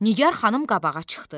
Nigar xanım qabağa çıxdı.